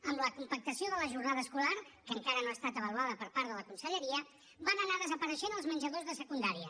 amb la compactació de la jornada escolar que encara no ha estat avaluada per part de la conselleria van anar desapareixent els menjadors de secundària